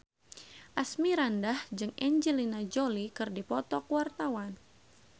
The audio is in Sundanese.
Asmirandah jeung Angelina Jolie keur dipoto ku wartawan